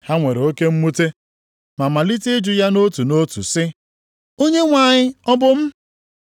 Ha nwere oke mwute, ma malite ịjụ ya nʼotu nʼotu sị, “Onyenwe anyị, ọ bụ m?”